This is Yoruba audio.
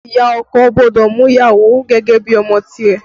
Ìyá ọkọ gbọ́dọ̀ mú ìyàwó gẹ́gẹ́ bí ọmọ tìrẹ